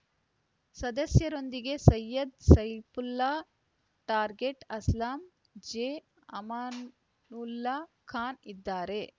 ಸದಸ್ಯರೊಂದಿಗೆ ಸೈಯದ್‌ ಸೈಫುಲ್ಲಾ ಟಾರ್ಗೆಟ್‌ ಅಸ್ಲಂ ಜೆಅಮಾನುಲ್ಲಾ ಖಾನ್‌ ಇದ್ದಾರೆ